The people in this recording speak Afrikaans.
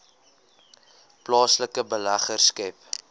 plaaslike beleggers skep